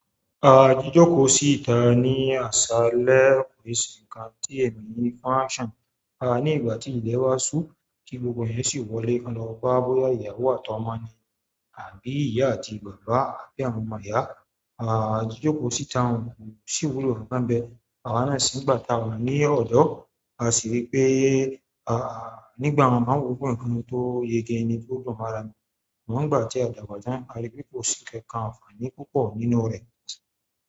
Àá jijòkò sí ìta ní àṣálẹ́ ki se nkan tí èmi ní fánṣàn ní ìgbà tí ilẹ̀ wá sú tí gbogbo eyan sì wọlé kan lọ bá boyá ìyàwó àti ọmọ ni àbí ìyá àti bàbá àbí àwọn ọmọ ìyá. À jijòkò sí ìta òun sì wúlò baa n bẹ́ẹ̀. Àwa náà se ní ìgbà tá a wà ní ọ̀dọ́, a sì rí pé à nígbà mi ma wo pe ǹkan tó yege ni tó dùn mọ́ ara ni, amo nígbà tí a dàgbà tán, a rí pé kò sí kankan àǹfààní púpọ̀ nínú rẹ̀.